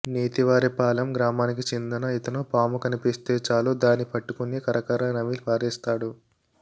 నేతివారిపాలెం గ్రామానికి చెందిన ఇతను పాము కనిపిస్తే చాలు దాని పట్టుకుని కరకర నమిలి పారేస్తాడు